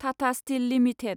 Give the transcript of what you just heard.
Tata Steel limited